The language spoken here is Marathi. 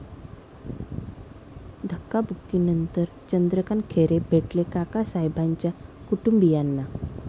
धक्काबुक्कीनंतर चंद्रकांत खैरे भेटले काकासाहेबाच्या कुटुंबियांना!